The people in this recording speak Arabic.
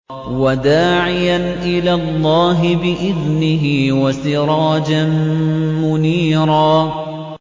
وَدَاعِيًا إِلَى اللَّهِ بِإِذْنِهِ وَسِرَاجًا مُّنِيرًا